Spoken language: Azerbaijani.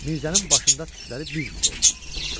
Mirzənin başında tükləri biz-biz oldu.